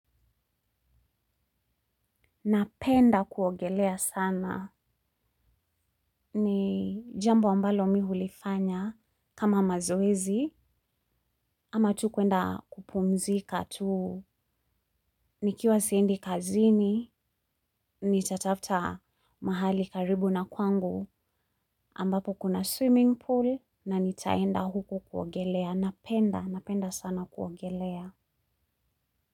Napenda kuogelea sana. Ni jambo ambalo mihulifanya kama mazoezi ama tu kuenda kupumzika tuu. Nikiwa siendi kazini, ni tatafta mahali karibu na kwangu ambapo kuna swimming pool na nitaenda huko kuogelea. Napenda, napenda sana kuogelea.